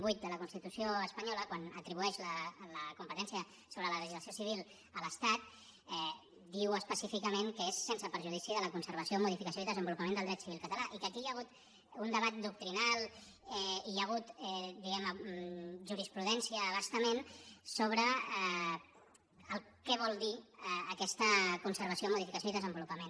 vuit de la constitució espanyola quan atribueix la competència sobre la legislació civil a l’estat diu específicament que és sense perjudici de la conservació modificació i desenvolupament del dret civil català i que aquí hi ha hagut un debat doctrinal hi ha hagut diguem ne jurisprudència a bastament sobre què vol dir aquesta conservació modificació i desenvolupament